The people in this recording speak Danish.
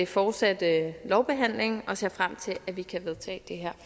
fortsatte lovbehandling og ser frem til at vi kan vedtage